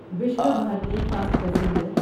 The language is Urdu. Vishwabharati fast passenger